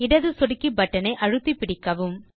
இடது சொடுக்கி பட்டன் ஐ அழுத்தி பிடிக்கவும்